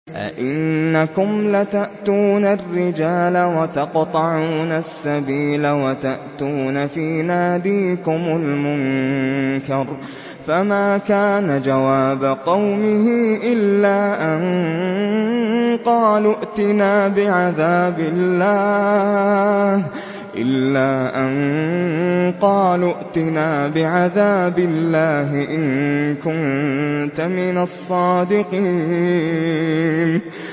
أَئِنَّكُمْ لَتَأْتُونَ الرِّجَالَ وَتَقْطَعُونَ السَّبِيلَ وَتَأْتُونَ فِي نَادِيكُمُ الْمُنكَرَ ۖ فَمَا كَانَ جَوَابَ قَوْمِهِ إِلَّا أَن قَالُوا ائْتِنَا بِعَذَابِ اللَّهِ إِن كُنتَ مِنَ الصَّادِقِينَ